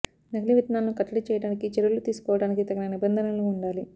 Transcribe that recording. నకిలీ విత్తనాలను కట్టడీ చేయడానికి చర్యలు తీసుకోవటానికి తగిన నిబంధనలు వుండాలి